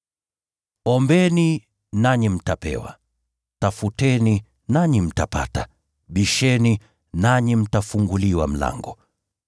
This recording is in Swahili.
“Ombeni nanyi mtapewa; tafuteni nanyi mtapata; bisheni nanyi mtafunguliwa mlango.